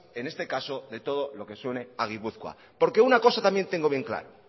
en este caso de todo lo que suene a gipuzkoa porque